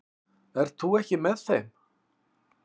Ert þú ekki með þeim?